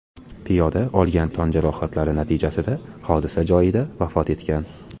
Piyoda olgan tan jarohatlari natijasida hodisa joyida vafot etgan.